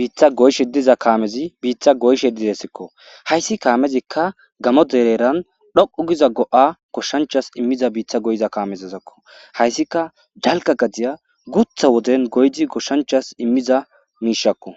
bitta goyshshe diza kamezzi bitta kameththi bitta goyshshe dizayssakko. Hayssi kamezikka Gamo deren heeran dhoqqu Giza go'a goshshanchchas immiza go'iza kamezzazakko. Hayssika dalgga gadiya guththta Woden goyddi goshshanchchas immiza mishshakko.